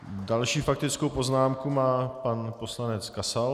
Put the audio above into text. Další faktickou poznámku má pan poslanec Kasal.